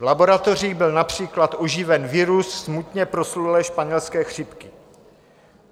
V laboratoři byl například oživen virus smutně proslulé španělské chřipky.